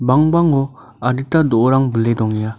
bangbango adita do·orang bile dongenga.